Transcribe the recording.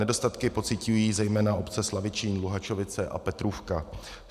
Nedostatky pociťují zejména obce Slavičín, Luhačovice a Petrůvka.